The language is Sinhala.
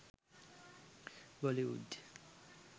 bollywood